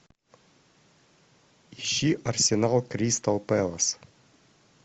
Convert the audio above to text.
ищи арсенал кристал пэлас